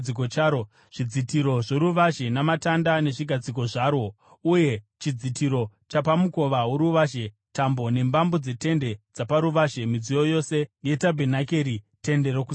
zvidzitiro zvoruvazhe namatanda nezvigadziko zvarwo, uye chidzitiro chapamukova woruvazhe; tambo nembambo dzetende dzaparuvazhe; midziyo yose yetabhenakeri, Tende Rokusangana;